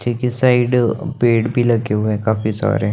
ठीक इस साइड पेड़ भी लगे हुए हैं काफी सारे --